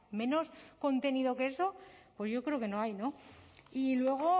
menos contenido que eso pues yo creo que no hay y luego